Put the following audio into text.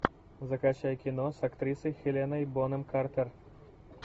закачай кино с актрисой хеленой бонем картер